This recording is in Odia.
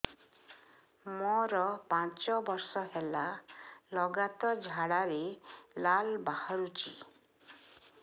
ମୋରୋ ପାଞ୍ଚ ବର୍ଷ ହେଲା ଲଗାତାର ଝାଡ଼ାରେ ଲାଳ ବାହାରୁଚି